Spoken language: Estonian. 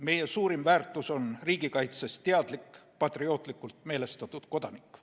Meie suurim väärtus riigikaitses on teadlik patriootlikult meelestatud kodanik.